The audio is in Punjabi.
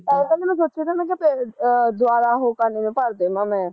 ਮੈਨੂੰ ਦੱਸਿਆ ਤਾਂ ਮੈਂ ਕਿਹਾ ਫਿਰ ਆ ਦਵਾਰਾਂ ਉਹ ਕਰਨੇ ਨੂੰ ਭਰ ਦੇਵਾ ਮੈਂ